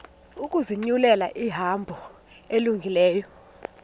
ukuzinyulela ihambo elungileyo